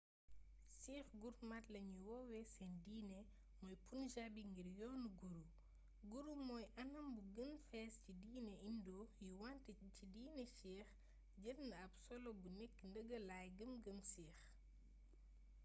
sikhs gurmat lañy woowee seen diine mooy punjabi ngir yoonu guru guru mooy anam bu gën fés ci diine indo yi wante ci diine sikh jël na ab solo bu nekk ndëgëlay gëm gëm sikh